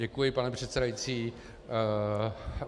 Děkuji, pane předsedající.